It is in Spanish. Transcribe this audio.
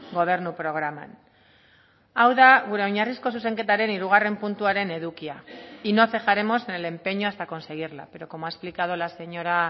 gobernu programan hau da gure oinarrizko zuzenketaren hirugarren puntuaren edukia y no cejaremos en el empeño hasta conseguirla pero como ha explicado la señora